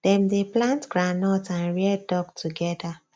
dem dey plant groundnut and rear duck together